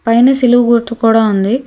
పైన సిలువు గుర్తు కూడా ఉంది.